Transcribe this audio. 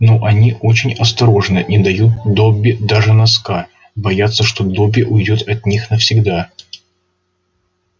но они очень осторожны не дают добби даже носка боятся что добби уйдёт от них навсегда